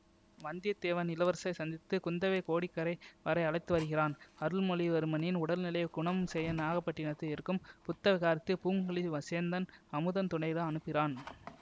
வந்தியத்தேவன் இளவரசரை சந்தித்து குந்தவையை கோடிக்கரை வரை அழைத்துவருகிறான் அருள்மொழிவர்மனின் உடல்நிலையை குணம் செய்ய நாகப்பட்டினதில் இருக்கும் புத்த விகாரத்திற்கு பூங்குழலி வசேந்தன் அமுதன் துணையுடன் அனுப்புகிறான்